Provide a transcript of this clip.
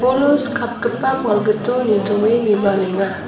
bolo skapgipa balgito nitoe bibalenga.